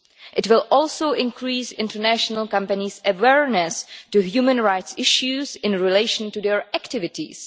It will also increase international companies' awareness of human rights issues in relation to their activities.